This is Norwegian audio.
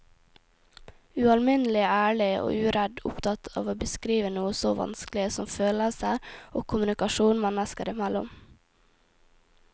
Ualminnelig ærlig og uredd opptatt av å beskrive noe så vanskelig som følelser og kommunikasjon mennesker imellom.